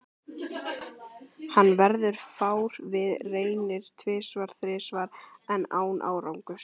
Hann verður fár við, reynir tvisvar-þrisvar enn, án árangurs.